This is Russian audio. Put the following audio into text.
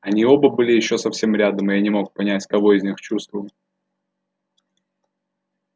они оба были ещё совсем рядом и я не мог понять кого из них чувствую